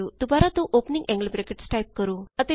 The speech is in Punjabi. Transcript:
ਦੁਬਾਰਾ ਦੋ ਔਪਨਿੰਗ ਐਂਗਲ ਬਰੈਕਟਸ ਟਾਈਪ ਕਰੋ